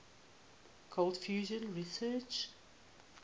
cold fusion researchers